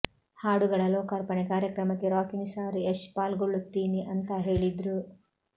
ಹಾಡುಗಳ ಲೋಕಾರ್ಪಣೆ ಕಾರ್ಯಕ್ರಮಕ್ಕೆ ರಾಕಿಂಗ್ ಸ್ಟಾರ್ ಯಶ್ ಪಾಲ್ಗೊಳ್ಳುತ್ತೀನಿ ಅಂತಾ ಹೇಳಿದ್ರು